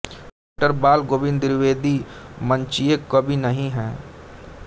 डॉ बाल गोविन्द द्विवेदी मंचीय कवि नहीं हैं